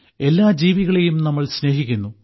എല്ലാ ജീവികളെയും നമ്മൾ സ്നേഹിക്കുന്നു